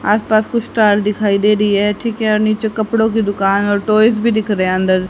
आस पास कुछ स्टाइल दिखाई दे रही है ठीक है और नीचे कपड़ों की दुकान और टॉयज भी दिख रहा है अंदर--